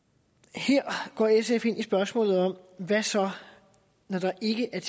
her går sf ind i spørgsmålet om hvad så når der ikke er